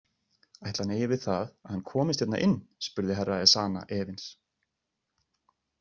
Ætli hann eigi við það að hann komist hérna inn spurði Herra Ezana efins.